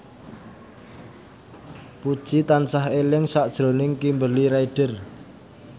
Puji tansah eling sakjroning Kimberly Ryder